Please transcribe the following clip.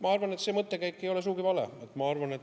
Ma arvan, et see mõttekäik ei ole sugugi vale.